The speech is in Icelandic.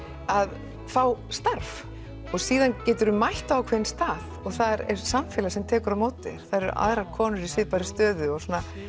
að fá starf og síðan geturðu mætt á ákveðinn stað og þar er samfélag sem tekur á móti þér það eru konur í svipaðri stöðu og